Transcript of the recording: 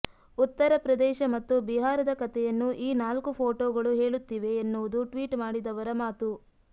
ಉತ್ತರ ಪ್ರದೇಶ ಮತ್ತು ಬಿಹಾರದ ಕತೆಯನ್ನು ಈ ನಾಲ್ಕು ಪೋಟೋಗಳು ಹೇಳುತ್ತಿವೆ ಎನ್ನುವುದು ಟ್ವೀಟ್ ಮಾಡಿದವರ ಮಾತು